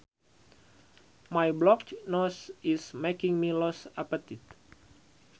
My blocked nose is making me lose appetite